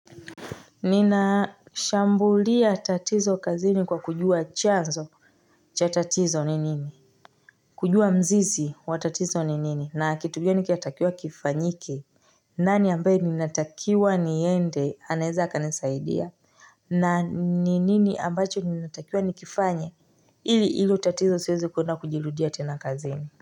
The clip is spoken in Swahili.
Nina shambulia tatizo kazini kwa kujua chanzo cha tatizo ni nini kujua mzizi wa tatizo ni nini na kitu gani kinatakiwa kifanyike nani ambaye ninatakiwa niende anaeza kanisaidia na ni nini ambacho ninatakiwa nikifanye ili ilo tatizo siweze kuenda kujirudia tena kazini.